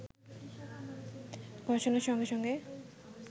ঘোষণার সঙ্গে সঙ্গেই